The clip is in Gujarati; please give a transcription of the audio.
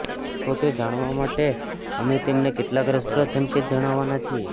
તો તે જાણવા માટે અમે તમને કેટલાક રસપ્રદ સંકેત જણાવાના છીએ